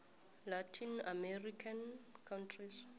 latin american countries